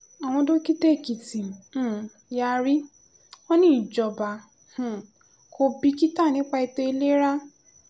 àwọn dókítà èkìtì um yarí wọn ní ìjọba um kò bìkítà nípa ètò ìlera